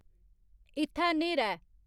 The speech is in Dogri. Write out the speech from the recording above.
इत्थै न्हेरा ऐ